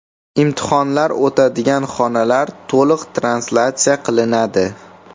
Imtihonlar o‘tadigan xonalar to‘liq translyatsiya qilinadi.